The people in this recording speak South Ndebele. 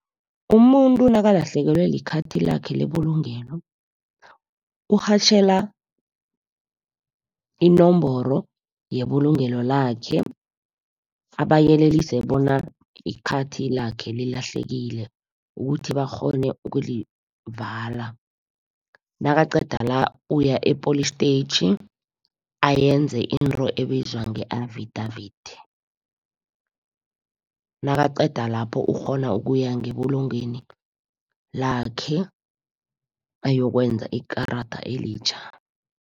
Umuntu nakalahlekelwe likhathi lakhe lebulungelo, urhatjhela inomboro yebulungelo lakhe, abayelelise bona ikhathi lakhe lilahlekile, ukuthi bakghone ukulivala. Nakaqeda la, uya epholistetjhi ayenze into ebizwa nge-affidavit, nakaqeda lapho ukghona ukuya ngebulungeni lakhe ayokwenza ikarada elitjha.